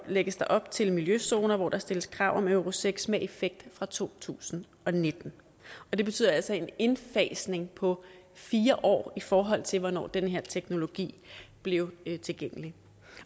lægges der op til miljøzoner hvor der stilles krav om euro seks med effekt fra to tusind og nitten det betyder altså en indfasning på fire år i forhold til hvornår den her teknologi blev tilgængelig